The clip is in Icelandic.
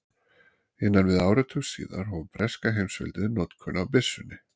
Innan við áratug síðar hóf breska heimsveldið notkun á byssunni.